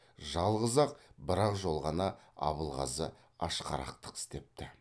жалғыз ақ бір ақ жол ғана абылғазы ашқарақтық істепті